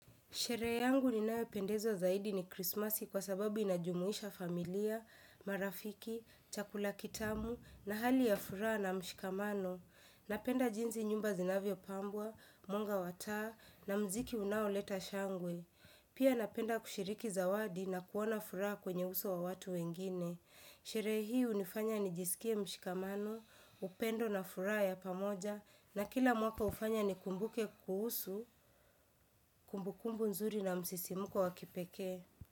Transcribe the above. Sherehe yangu ninayopendezwa zaidi ni krismasi kwa sababu inajumuisha familia, marafiki, chakula kitamu na hali ya furaha na mshikamano. Napenda jinsi nyumba zinavyopambwa, mwanga wa taa na mziki unaoleta shangwe. Pia napenda kushiriki zawadi na kuona furaha kwenye uso wa watu wengine. Shere hii unifanya nijisikie mshikamano, upendo na furaha ya pamoja, na kila mwaka ufanya nikumbuke kuhusu, kumbukumbu nzuri na msisimuko wakipeke.